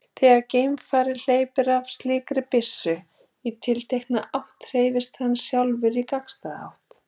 Þegar geimfari hleypir af slíkri byssu í tiltekna átt hreyfist hann sjálfur í gagnstæða átt.